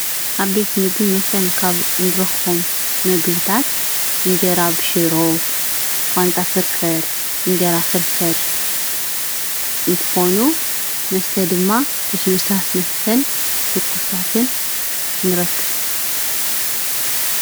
ኣብ ቤት ምግብን መስተን ካብ እንረኽቦም ምግብታት ፣እንጀራ ብሽሮ ፣ቋንጣ ፍርፍር ፣ እንጀራ ፍርፍር እንትኾኑ መስተ ድማ ልሱሉሳት መስተን ትኩሳትን ንረክብ።